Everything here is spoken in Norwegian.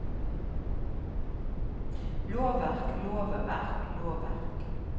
lovverk lovverk lovverk